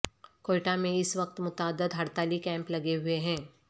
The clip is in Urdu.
کوئٹہ میں اس وقت متعدد ہڑتالی کیمپ لگے ہوئے ہیں